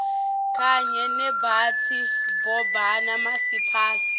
kanye nebaphatsi babomasipala